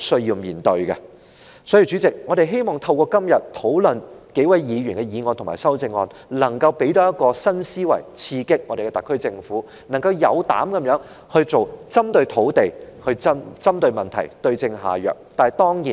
因此，代理主席，透過今天討論數位議員的議案及修正案，我們希望能夠提供新思維刺激特區政府，令其有膽量地從土地的供應針對問題，對症下藥。